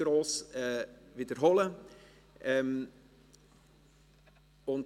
Diese wiederhole ich nicht gross.